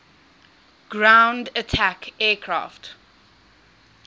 ground attack aircraft